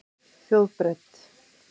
Þjóðbraut